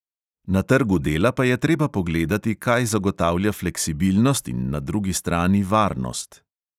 Na trgu dela pa je treba pogledati, kaj zagotavlja fleksibilnost in na drugi strani varnost.